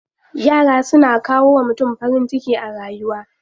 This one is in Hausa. Yara suna kawo wa mutum farin ciki a rayuwa.